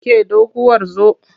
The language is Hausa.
Ke doguwar zo!